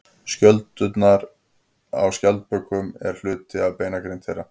Skjöldurinn á skjaldbökum er hluti af beinagrind þeirra.